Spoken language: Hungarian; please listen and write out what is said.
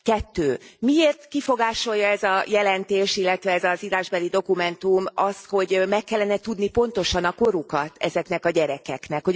Kettő miért kifogásolja ez a jelentés, illetve ez az írásbeli dokumentum azt, hogy meg kellene tudni pontosan a korukat ezekeknek a gyerekeknek.